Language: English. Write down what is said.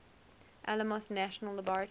alamos national laboratory